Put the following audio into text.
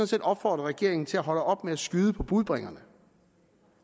set opfordre regeringen til at holde op med at skyde på budbringerne